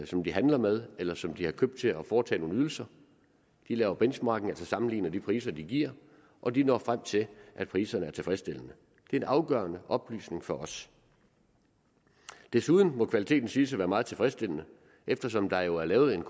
som de handler med eller som de har købt til at foretage nogle ydelser de laver benchmarking altså sammenligner de priser de giver og de når frem til at priserne er tilfredsstillende det er en afgørende oplysning for os desuden må kvaliteten siges at være meget tilfredsstillende eftersom der jo er lavet en